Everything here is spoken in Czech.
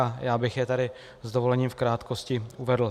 A já bych je tady s dovolením v krátkosti uvedl.